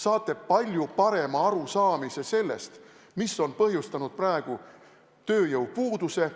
Saate palju parema arusaamise sellest, mis on põhjustanud praegu tööjõupuuduse.